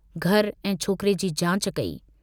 घरु ऐं छोकिरे जी जांच कई।